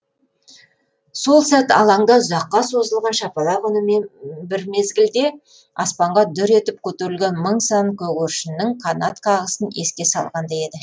сол сәт алаңда ұзаққа созылған шапалақ үнімен бір мезгілде аспанға дүр етіп көтерілген мың сан көгершіннің қанат қағысын еске салғандай еді